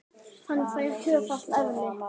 Hann fær tvöfalt eðli.